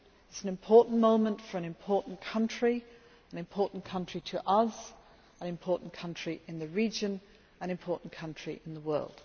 it is an important moment for an important country an important country to us, an important country in the region and an important country in the world.